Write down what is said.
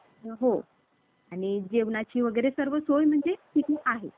सृष्टी निर्माण झाली. रामा~ भगवान रामासाठी केलेलं स्वागत आहे हे. आणि असं पण म्हणतात कि, या दिवशी,